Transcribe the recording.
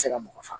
se ka mɔgɔ faga